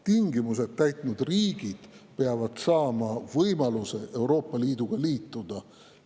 Tingimused täitnud riigid peavad saama võimaluse Euroopa Liiduga liituda.